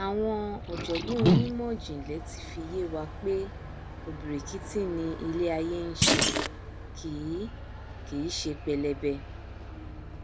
àwọn ọjọgbọn onímọjìnlẹ ti fi yé wa pé ọbìrìkìtì ni iléaiyé nṣe kìí kìí ṣe pẹlẹbẹ